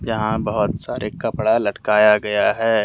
यहां बहुत सारे कपड़ा लटकाया गया है।